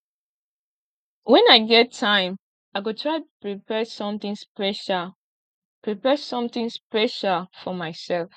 wen i get time i go try prepare something special prepare something special for myself